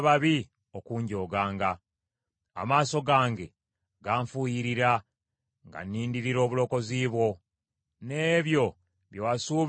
Amaaso gange ganfuuyiririra, nga nnindirira obulokozi bwo n’ebyo bye wasuubiza mu butuukirivu bwo.